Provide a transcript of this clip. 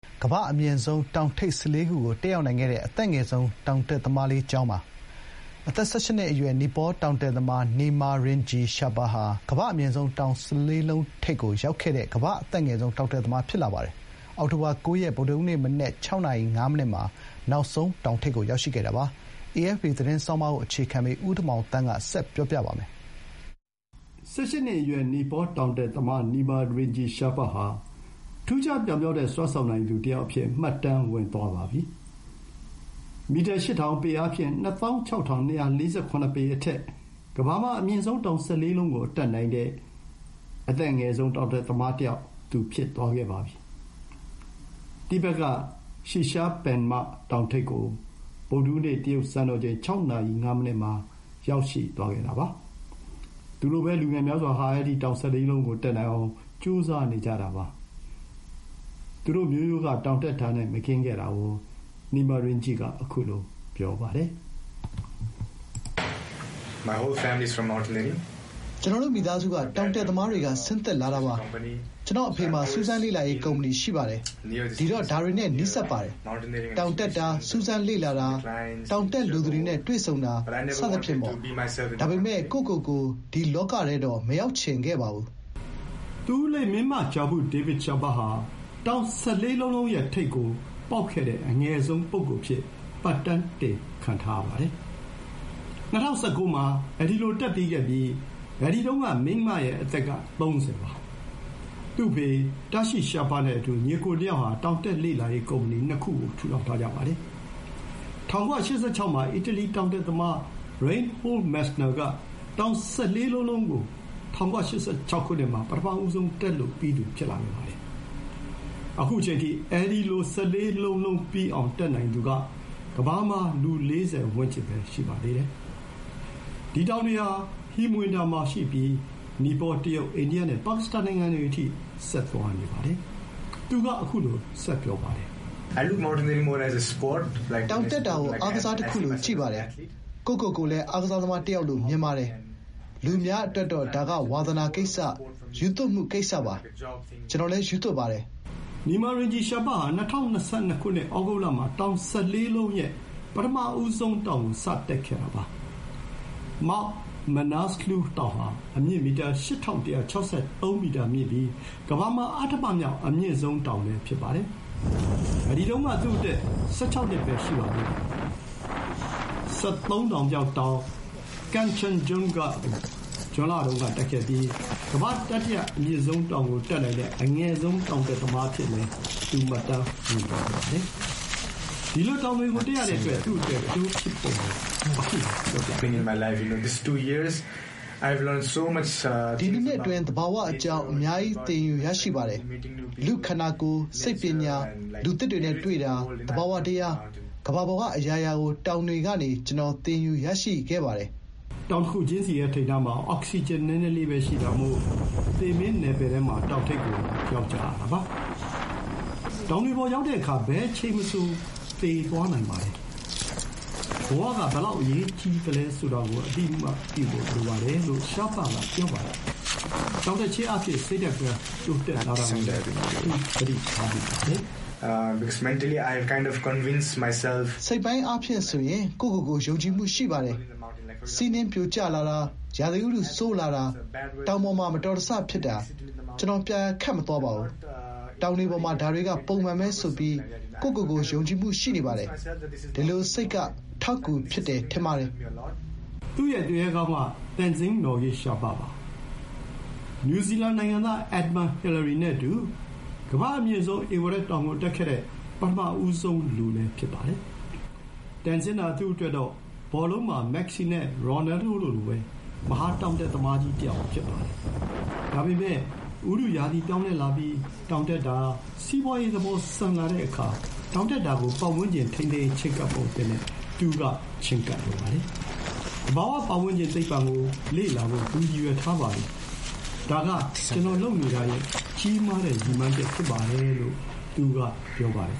ကမ္ဘာ့အမြင့်ဆုံးတောင် ၁၄ လုံးကိုတက်နိုင်ခဲ့တဲ့ ၁၈ နှစ်သား ကမ္ဘာ့အသက်အငယ်ဆုံးတောင်တက်သမား Nima Rinji Sherpa ၁၈ နှစ်အရွယ် နီပေါ တောင်တက်သမား Nima Rinji Sherpa ဟာ ကမ္ဘာ့အမြင့်ဆုံး တောင် ၁၄ လုံး ထိပ်ကိုရောက်ခဲ့တဲ့ကမ္ဘာ့အသက်ငယ်ဆုံး တောင်တက်သမား ဖြစ်သွားပါပြီ။ အောက်တိုဘာလ ၉ ရက်၊ ဗုဒ္ဓဟူးနေ့ မနက် ၆ နာရီ ၅ နစ်မှာနောက်ဆုံးတောင်ထိပ်ကို ရောက်ရှိခဲ့တာပါ။ အေအက်ဖ်ပီ သတင်းဆောင်းပါးကိုအခြေခံပြီး ဦးတင်မောင်သန်းကတင်ပြပေးထားပါတယ်။ ၁၈ နှစ်အရွယ် နီပေါတောင်တက်သမား Nima Rinji Sherpa ဟာ ထူးခြားပြောင်မြောက်တဲ့ စွမ်းဆောင်နိုင်သူတယောက်အဖြစ် မှတ်တမ်းဝင်သွားပါပြီ။ မီတာ ၈,၀၀၀၊ ပေအားဖြင့် ၂,၆၂၄၇ ပေအထက် ကမ္ဘာမှာ အမြင့်ဆုံးတောင် ၁၄ လုံး,လုံးကိုတက်နိုင်တဲ့ အသက်အငယ်ဆုံး တောင်တက် သမားတယောက် ဖြစ်သွားပါပြီ။ တိဘက်က Shishapangma တောင်ထိပ်ကို ဗုဒ္ဓဟူးနေ့ တရုတ် စံတော်ချိန် ၆ နာရီ ၅ မိနစ်မှာ ရောက်ရှိသွားခဲ့တာပါ။ သူလိုပဲ လူငယ်များစွာဟာ အဲဒီတောင် ၁၄ လုံးကို တက်နိုင်အောင် ကြိုးစားနေကြတာပါ။ သူတို့ မျိုးရိုးက တောင်တက်တာနဲ့မကင်းခဲ့တာကို Nima Rinji က ခုလို ပြောပါတယ်။ “ကျနော်တို့မိသားစုက တောင်တက်သမားတွေက ဆင်းသက်လာတာပါ။ ကျွန်တော့်အဖေမှာ စူးစမ်းလေ့လာရေးကုမ္ပဏီရှိပါတယ်။ ဒီတော့ ဒါတွေနဲ့ နီးစပ်ပါတယ်။ တောင်တက်တာ၊ စူးစမ်း လေ့လာတာ၊ တောင်တက်လိုသူတွေနဲ့တွေ့ဆုံတာ.. စသဖြင့်ပေါ့။ ဒါပေမဲ့ ကိုယ့်ကိုယ်ကို ဒီလောကထဲတော့ မရောက်ချင်ခဲ့ပါဘူး။” သူ့ဦးလေး Mingma Gyabu 'David' Sherpa ဟာ တောင် ၁၄ လုံး,လုံးရဲ့ ထိပ်ကို ပေါက်ခဲ့တဲ့ အငယ်ဆုံး ပုဂ္ဂိုလ်အဖြစ်မှတ်တမ်းတင်ခံထားပါတယ်။ ၂၀၁၉ မှာ တက်ပြီးခဲ့ပြီး အဲဒီတုန်းက Mingma ရဲ့ အသက် က ၃၀ ပါ။ သူ့အဖေ Tashi Sherpa နဲ့အတူ ညီအစ်ကိုနှစ်ယောက်ဟာ တောင်တက်လေ့လာရေး ကုမ္ပဏီ ၂ ခုကို ထူထောင်ထားကြပါတယ်။ ၁၉၈၆မှာ အီတလီတောင်တက်သမား Reinhold Messner က တောင် ၁၄ လုံး,လုံးကို ၁၉၈၆ မှာ ပထမဆုံးတက်လို့ပြီးသူ ဖြစ်ခဲ့ပါတယ်။ ခုအချိန်အထိ အဲဒီလို ပြီးအောင်တက်နိုင်သူက ကမ္ဘာမှာ လူ ၄၀ ဝန်းကျင်ပဲ ရှိပါသေးတယ်။ ဒီတောင်တွေဟာဟိမဝန္တာမှာ ရှိပြီး နီပေါ၊ တရုတ်၊ အိန္ဒိယနဲ့ ပါကစ္စတန်နိုင်ငံတွေအထိ ဆက်သွားပါတယ်။ သူက ခုလို ဆက်ပြောပါတယ်။ “တောင်တက်တာကို အားကစားတခုလို ကြည့်ပါတယ်။ ကိုယ့်ကိုယ်ကိုယ်လည်း အားကစားသမား တယောက်လို့ မြင်ပါတယ်။ လူအများအတွက်တော့ ဒါက ဝါသနာကိစ္စ၊ ရူးသွပ်မှုကိစ္စပါ။ ကျနော်လည်း ရူးသွပ်ပါတယ်။ ကျနော့်အတွက်တော့ အားကစားနဲ့ ပိုတူပါတယ်။ အသက်မွေးကျောင်း အားကစားမျိုးပေါ့။” နီမာ ရင်ဂျီရှာပ ဟာ ၂၀၂၂ ဩဂုတ်လမှာ တောင် ၁၄ လုံးရဲ့ ပထမတောင်ကို စတက်ခဲ့တာပါ။ Mount Manaslu တောင်ဟာ အမြင့် ၈,၁၆၃ မီတာမြင့်ပြီး ကမ္ဘာမှာ အဌမမြောက်အမြင့်ဆုံးတောင်လည်း ဖြစ်ပါတယ်။ ဒီတုန်းက သူ့အသက် ၁၆နှစ်ပဲ ရှိပါသေးတယ်။ ၁၃ တောင်မြောက်တောင် ကန်ချန်ဂျွန်ဂ Kanchenjunga ကို ဇွန်လတုန်းကတက်ခဲ့ပြီး ကမ္ဘာ့တတိယအမြင့်ဆုံးတောင်ကိုတက်နိုင်တဲ့ အငယ်ဆုံး တောင်တက်တက်သမားအဖြစ် မှတ်တမ်းဝင်သွားပါတယ်။ ဒီလိုတောင်တွေကို တက်ရတဲ့အတွက် သူ့အတွက် အကျိုးဖြစ်ပုံကို ခုလို ပြောပါတယ်။ “ဒီ ၂ နှစ်အတွင်း သဘာဝ အကြောင်း.. အများကြီး သင်ယူရရှိပါတယ်။ လူ့ခန္ဓာကိုယ်၊ စိတ်ပညာ၊ လူသစ်တွေနဲ့တွေ့တာ၊သဘာဝတရား.. ကမ္ဘာပေါ်ကအရာရာကို တောင်တွေကနေ ကျနော် သင်ယူရရှိခဲ့ပါတယ်။” တောင်တခုချင်းစီရဲ့ ထိပ်နားမှာ အောက်ဆီဂျင်နည်းနည်းလေးပဲရှိတာမို့ သေမင်းနယ်ပယ်ထဲမှာ တောင်ထိပ်ကိုရောက်ကြရတာပါ။ တောင်တွေပေါ် ရောက်တဲ့အခါ ဘယ်အချိန်မဆို သေသွားနိုင်ပါတယ်။ ဘဝက ဘယ်လောက် အရေးကြီးသလဲဆိုတာကို အသိအမှတ်ပြုဖို့ လိုပါတယ်လို့ ရှားပက ပြောပါတယ်။ တောင်တက်ခြင်းအားဖြင့် စိတ်ဓာတ်ပိုင်းတိုးတက်လာတာကိုလည်း သူ သတိထားမိပါတယ်။ “စိတ်ပိုင်းအားဖြင့် ဆိုရင် ကိုယ့်ကိုယ်ကိုယ် ယုံကြည်မှု ရှိလာပါတယ်။ တောင်တွေပေါ်မှာ ပုံမှန်ပါပဲ။ ဆီးနှင်းပြိုကျလာတာ၊ ရာသီဥတု ဆိုးလာတာ၊ တောင်ပေါ်မှာ မတော်တဆ ဖြစ်တာ.. ကျနော် ပျာယာခတ်မသွားပါဘူး။ တောင်တွေပေါ်မှာဒါတွေက ပုံမှန်ပဲ ဆိုပြီး ကိုယ့်ကိုယ်ကိုယ် ယုံကြည်မှု ရှိနေပါတယ်။ ဒီလို စိတ်က အထောက်အကူဖြစ်တယ် ထင်ပါတယ်။” သူ့ ရဲ့ သူရဲကောင်းက Tenzing Norgay Sherpa ပါ။ နယူးဇီလန်နိုင်ငံသား Edmund Hillary နဲ့အတူ ကမ္ဘာ့အမြင့်ဆုံး ဧဝရက်တောင်ကို တက်ခဲ့တဲ့ ပထမဆုံးလူ ဖြစ်ပါတယ်။ ဘောလုံးလောကမှာ မက်ဆီနဲ့ ရိုနယ်ဒိုတို့လိုပဲ တန်ဇင်းဟာ သူ့အတွက်တော့ မဟာတောင်တက်သမားတယောက်ဖြစ်ပါတယ်။ ဒါပေမဲ့ ဥတုရာသီ ပြောင်းလာပြီး တောင်တက်တာ စီးပွါးရေးသဘော ဆန်လာတဲ့အခါ တောင်တက်တာကို ပတ်ဝန်ကျင် ထိန်းသိမ်းရေး ချဥ်းကပ်ပုံအသစ်နဲ့ သူက ချဥ်းကပ်လိုပါတယ်။ သဘာဝ ပတ်ဝန်းကျင် သိပ္ပံဘာသာကို လေ့လာဖို့ သူရည်ရွယ်ထားပါတယ်။ ဒါက ကျနော်လုပ်နေတာရဲ့ကြီးမားတဲ့ ရည်မှန်းချက် ဖြစ်ပါတယ်လို့ သူက ပြောပါတယ်